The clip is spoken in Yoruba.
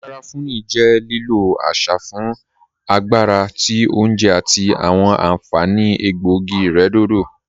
Garafuni jẹ lílọ̀ àṣà fún agbàrà tí ọ̀unjè àti awọn ànfaní ègbọ̀ogí-ìrẹ̀dọ̀dọ̀